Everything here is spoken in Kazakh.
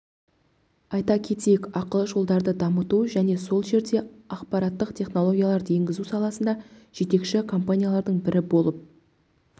айта кетейік ақылы жолдарды дамыту және сол жерде ақпараттық технологияларды енгізу саласында жетекші компаниялардың бірі болып